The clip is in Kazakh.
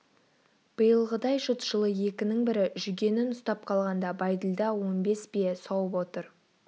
биылғыдай жұт жылы екінің бірі жүгенін ұстап қалғанда бәйділда он бес бие сауып отыр